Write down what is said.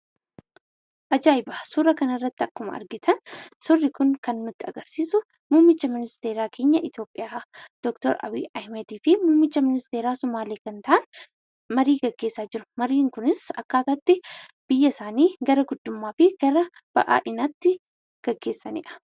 Ajaa'iba! Suuraa kanarratti akkuma argitan, suurri kun kan nutti agarsiisu muummicha ministeera keenya Itoopiyaa Dr. Abiyyi Ahmediifi muummicha ministeera Somaalee kan ta'an marii gaggeessaa jiru mariin kunis akkaataa itti biyya isaanii gara guddummaafi gara ba'aa'inaatti gaggeessanidha.